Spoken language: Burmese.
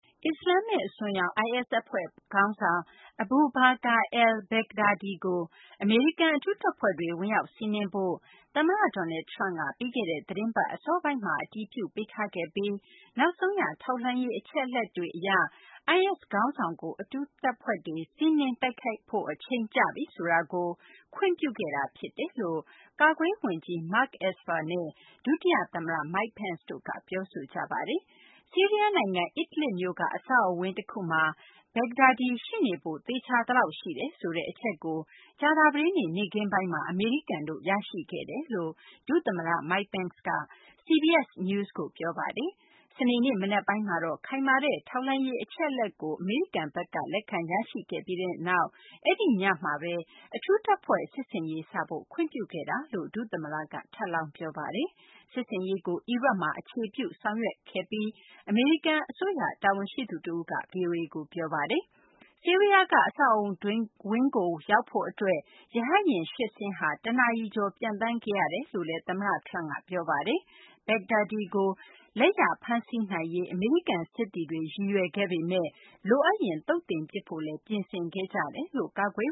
အစ္စလာမ္မစ် အစွန်းရောက် IS အဖွဲ့ ခေါင်းဆောင် Abu Bakr al-Baghdadi ကို အမေရိကန် အထူးတပ်ဖွဲ့တွေ ဝင်ရောက်စီးနင်းဖို့ သမ္မတ Donald Trump က ပြီးခဲ့တဲ့ သီတင်းပတ် အစောပိုင်းက အတည်ပြုပေးထားခဲ့ပြီး နောက်ဆုံးရ ထောက်လှမ်းရေး အချက်အလက်တွေအရ IS ခေါင်းဆောင်ကို အထူးတပ်ဖွဲ့တွေ စီးနင်းတိုက်ခိုက်ဖို့ အချိန်ကျပြီ ဆိုတာကို ခွင့်ပြုခဲ့တာဖြစ်တယ်လို့ ကာကွယ်ရေးဝန်ကြီး Mark Esper နဲ့ ဒုတိယသမ္မတ Mike Pence တို့က ပြောဆိုကြပါတယ်။ ဆီးရီးယားနိုင်ငံ Idlib မြို့က အဆောက်အအုံဝန်း တခုမှာ Baghdadi ရှိနေဖို့ သေချာသလောက် ရှိတယ်ဆိုတဲ့ အချက်ကို ကြာသပတေးနေ့ နေ့ခင်းပိုင်းမှာ အမေရိကန် ရရှိခဲ့တယ်လို့ ဒုသမ္မတ Mike Pence က CBS News ကို ပြောပါတယ်။ စနေနေ့ မနက်ပိုင်းမှာတော့ ခိုင်မာတဲ့ ထောက်လှမ်းရေး အချက်အလက်ကို အမေရိကန်ဘက်က လက်ခံရရှိခဲ့ပြီးနောက် အဲဒီညမှာပဲ အထူးတပ်ဖွဲ့ စစ်ဆင်ရေးစဖို့ ခွင့်ပြုခဲ့တာလို့ ဒုသမ္မတက ထပ်လောင်း ပြောပါတယ်။ စစ်ဆင်ရေးကို အီရတ်မှာ အခြေပြုပြီး ဆောင်ရွက်ခဲ့တာလို့ အမေရိကန်အစိုးရ အရာရှိတဦးက ဗွီအိုအေကို ပြောပါတယ်။ ဆီးရီးယားက အဆောက်အအုံဝင်းကို ရောက်ဖို့အတွက် ရဟတ်ယာဉ် ၈ စင်းဟာ ၁ နာရီကျော်ကြာ ပျံသန်းခဲ့ရတယ်လို့လည်း သမ္မတ Trump က ပြောဆိုပါတယ်။ Baghdadi ကို လက်ရဖမ်းဆီးနိုင်ရေး အမေရိကန်စစ်သည်တွေ ရည်ရွယ်ခဲ့ပေမယ့် လိုအပ်ရင် သုတ်သင်ပစ်ဖို့လည်း ပြင်ဆင်ခဲ့ကြတယ်လို့ ကာကွယ်